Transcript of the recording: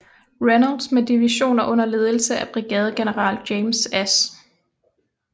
Reynolds med divisioner under ledelse af brigadegeneral James S